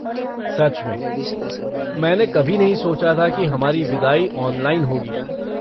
सच में, मैंने कभी नहीं सोचा था कि हमारी विदाई ऑनलाइन होगी।